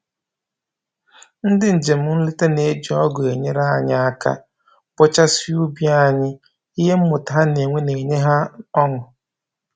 Ndị njem nleta na-eji ọgụ enyere anyị aka bọchasịa ubi anyị, ihe mmụta ha na-enwe na-enye ha ọṅụ